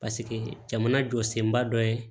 Paseke jamana jɔ senba dɔ ye